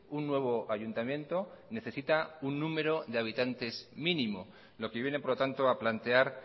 un nuevo ayuntamiento necesita un número de habitantes mínimo lo que viene por lo tanto a plantear